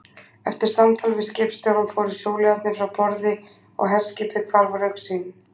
Eftir samtal við skipstjórann fóru sjóliðarnir frá borði, og herskipið hvarf úr augsýn.